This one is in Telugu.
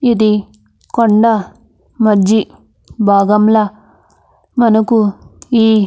ఇది కొండా మజి బాగంలా మనకు ఈ --